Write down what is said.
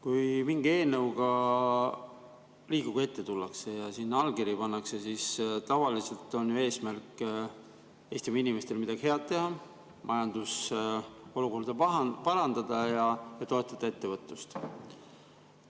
Kui mingi eelnõuga Riigikogu ette tullakse ja sinna allkirju pannakse, siis tavaliselt on ju eesmärk Eestimaa inimestele midagi head teha, majandusolukorda parandada ja toetada ettevõtlust.